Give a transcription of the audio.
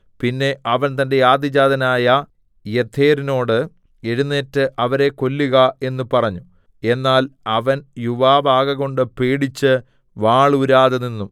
പിന്നെ അവൻ തന്റെ ആദ്യജാതനായ യേഥെരിനോട് എഴുന്നേറ്റ് അവരെ കൊല്ലുക എന്ന് പറഞ്ഞു എന്നാൽ അവൻ യുവാവ് ആകകൊണ്ട് പേടിച്ച് വാൾ ഊരാതെ നിന്നു